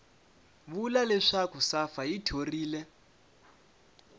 vula leswaku safa yi thorile